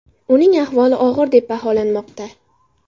Uning ahvoli og‘ir deb baholanmoqda.